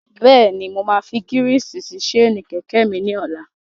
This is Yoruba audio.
Bẹ́ẹ̀ni, mo máa fi gírísì sí séènì kẹ̀kẹ́ mi ní ọlá.